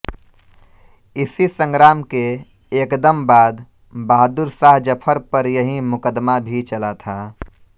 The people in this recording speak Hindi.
इसी संग्राम के एकदम बाद बहादुर शाह जफर पर यहीं मुकदमा भी चला था